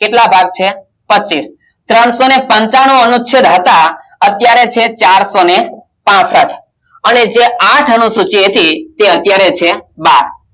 કેટલા ભાગ છે પચીસ ત્રણસો ને પંચાણુ અનુચ્છેદ હતા અત્યારે છે ચારસોને પાંસઠ અને જે આંઠ અનુસૂચિ હતી તે અત્યારે છે બાર